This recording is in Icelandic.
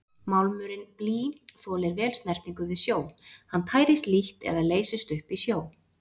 Málmurinn blý þolir vel snertingu við sjó, hann tærist lítt eða leysist upp í sjó.